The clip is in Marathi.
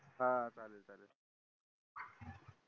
हां चालेल चल